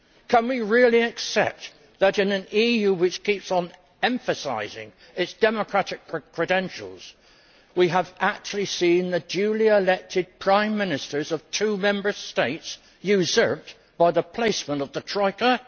Can we really accept that, in an EU which keeps on emphasising its democratic credentials, we have actually seen the duly elected Prime Ministers of two Member States usurped by the placemen of the Troika?